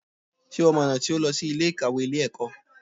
Sé o mọ ọ̀nà tí ó lọ sí Ilé ìkàwé Ilé ẹ̀kọ́?